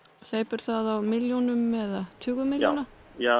hleypur það á milljónum eða tugum milljóna